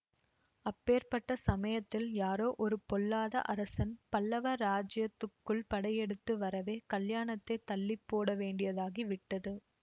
அப்பேர்ப்பட்ட சமயத்தில் யாரோ ஒரு பொல்லாத அரசன் பல்லவ ராஜ்யத்துக்குள் படையெடுத்து வரவே கல்யாணத்தைத் தள்ளி போடவேண்டியதாகி விட்டது